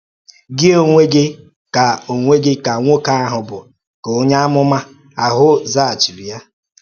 “Gị onwe gị ka onwe gị ka nwoke ahụ bụ,” ka onye amụma ahụ zaghachiri.